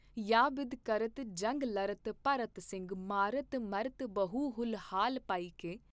ਯਾ ਬਿਧ ਕਰਤ ਜੰਗ ਲਰਤ ਭਰਤ ਸਿੰਘ ਮਾਰਤ ਮਰਤ ਬਹੁ ਹੂਲ ਹਾਲ ਪਾਇਕੈ।